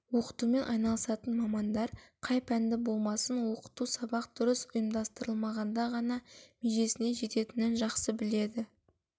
оқытумен айналысатын мамандар қай пәнді болмасын оқыту сабақ дұрыс ұйымдастырылғанда ғана межесіне жететінін жақсы біледі